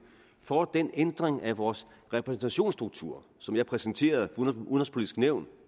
for den ændring af vores repræsentationsstruktur som jeg præsenterede udenrigspolitisk nævn